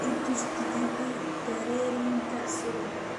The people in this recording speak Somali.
I tus tigithi terrenka subax